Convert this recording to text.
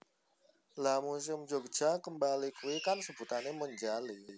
Lha Museum Jogja Kembali kui kan sebutane Monjali